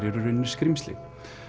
eru í rauninni skrímsli